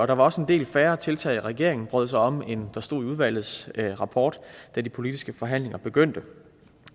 der var også en del færre tiltag regeringen brød sig om end der stod i udvalgets rapport da de politiske forhandlinger begyndte